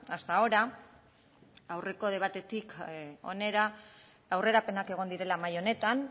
hasta ahora aurreko debatetik hona aurrerapenak egon direla mahai honetan